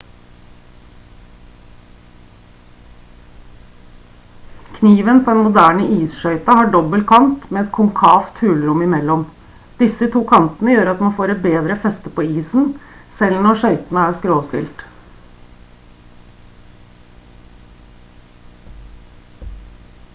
kniven på en moderne isskøyte har en dobbel kant med et konkavt hulrom i mellom disse to kantene gjør at man får et bedre feste på isen selv når skøytene er skråstilt